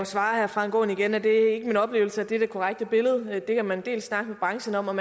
svare herre frank aaen igen at det ikke er min oplevelse at det er det korrekte billede det kan man dels snakke med branchen om om